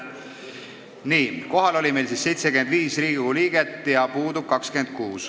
Nii, kohal on meil siis 75 Riigikogu liiget ja puudub 26.